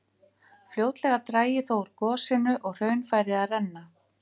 Fljótlega drægi þó úr gosinu og hraun færi að renna.